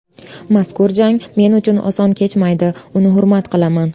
Mazkur jang men uchun oson kechmaydi, uni hurmat qilaman.